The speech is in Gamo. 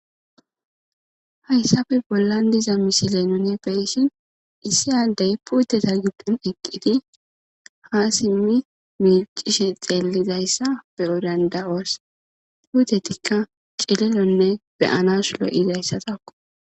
hayssafe bollan diza misilen nuuni beyishin issi addey puuteza giddon eqqidi ha simmi miiccishi xeellidayssa be'o danda'oos puutetikka cililonne beyanas lo7izayssatakko.